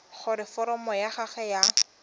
gore foromo ya gago ya